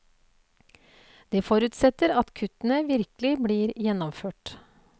Det forutsetter at kuttene virkelig blir gjennomført.